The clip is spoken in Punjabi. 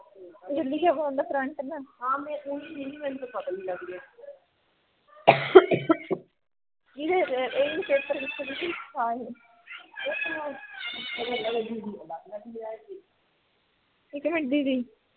ਇਕ ਮਿੰਟ ਦੀਦੀ